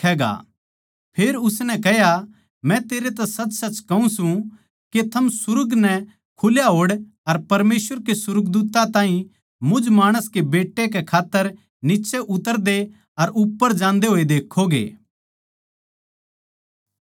फेर उसनै कह्या मै तेरै तै साच्चेसाच्च कहूँ सूं के थम सुर्ग नै खुल्या होड़ अर परमेसवर के सुर्गदूत्तां नै मुझ माणस कै बेट्टे कै उप्पर नीच्चै उतरदे अर उप्पर जान्दे देक्खोगे